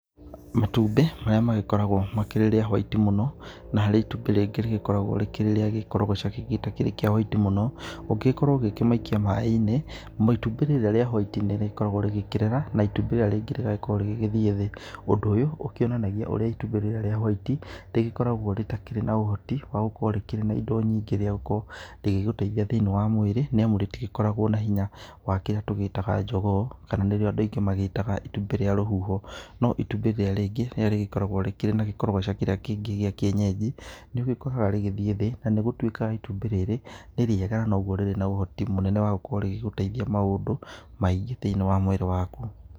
Matũmbĩ marĩa magĩkoragwo makĩrĩ rĩa white mũno na harĩ itũmbĩ rĩgĩkoragwo rĩ rĩa kĩkorogaca kĩngĩ gĩtarĩ kĩa whĩte mũno, ũngĩkĩrwo ũkĩgĩikĩa maĩ inĩ, itũmbĩ rĩrĩa rĩa whĩte nĩrĩkoragwo rĩkĩrera na itũmbĩ rĩrĩra rĩngĩ rĩgakĩrwo rĩkĩthĩe thĩ. Ũndũ ũyũ ũkĩ onanagĩa ũrĩa ĩtũmbĩ rĩrĩa whĩte rĩgĩkoragwo rĩtakĩrĩ na ũhotĩ wa gũkorwo rĩrkĩrĩ na indo nyĩngĩ rĩa gũkorwo rĩkĩgũteĩthĩa thĩ inĩ wa mwĩrĩ nĩ amũ rĩtĩkoragwo na hĩnya wa kĩrĩa tũgĩ itaga jogoo, kana nĩrĩo andũ aĩngĩ metaga itũmbĩ rĩa rũhũho. No ĩtũmbĩ rĩrĩa rĩngĩ rĩgĩkoragwo rĩgĩkorageo na gĩkorogoca gĩa kĩenyejĩ nĩũgĩkoraga rĩgĩthĩe thĩĩ na nĩ gũĩtĩkaga ĩtũmbĩ rĩrĩ nĩ rĩega na nũgũo rĩkĩrĩ na ũhoti mũnene wa gũkoro rikĩgũteuĩthĩa maũndũ maĩngĩ thĩ inĩ wa mwĩrĩ wakũ.